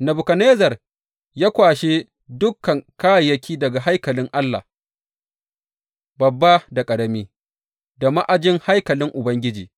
Nebukadnezzar ya kwashe dukan kayayyaki daga haikalin Allah, babba da ƙarami, da ma’ajin haikalin Ubangiji